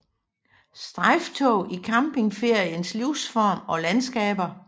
Strejftog i campingferiens livsform og landskaber